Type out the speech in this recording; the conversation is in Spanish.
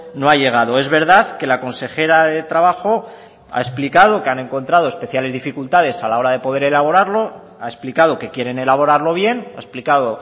no ha llegado es verdad que la consejera de trabajo ha explicado que han encontrado especiales dificultades a la hora de poder elaborarlo ha explicado que quieren elaborarlo bien ha explicado